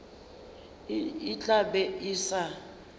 e tla be e sa